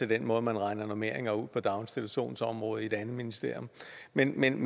den måde man regner normeringer ud på på daginstitutionsområdet i et andet ministerium men men